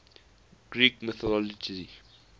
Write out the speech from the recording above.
greek mythology